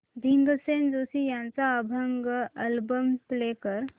भीमसेन जोशी यांचा अभंग album play कर